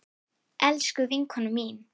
Elsku vinkona mín.